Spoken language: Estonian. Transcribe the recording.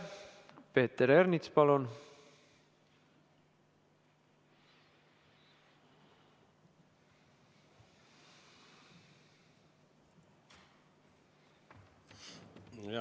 Peeter Ernits, palun!